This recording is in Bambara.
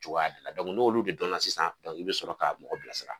Cogo de la n'olu de dɔnna sisan i bi sɔrɔ ka mɔgɔ bila sira